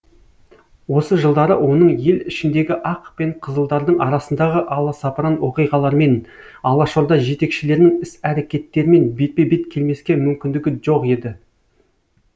осы жылдары оның ел ішіндегі ақ пен қызылдардың арасындағы аласапыран оқиғалармен алашорда жетекшілерінің іс әрекеттерімен бетпе бет келмеске мүмкіндігі жоқ еді